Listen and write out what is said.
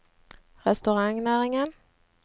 restaurantnæringen